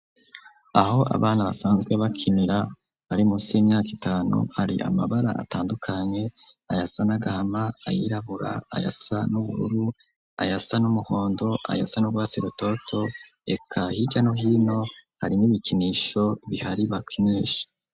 Aho abana basanzwe bakinira bari munsi y'imyaka itanu hari amabara atandukanye ayasa n'agahama ,ayirabura, ayasa n'ubururu ayasa n'umuhondo ,ayasa n'ubwasirototo reka hirya no hino hari nibikinisho bihari bakinisha.